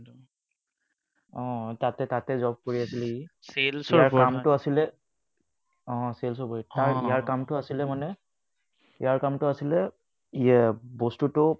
আহ তাতে তাতে job কৰি আছিলে sales ৰ কামটো আছিলে ইয়াৰ কামটো আছিলে মানে কামটো ইয়াৰ কামটো আছিলে বস্তুটো